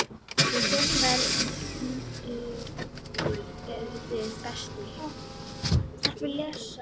Hrund: Hverju eruð þið best í?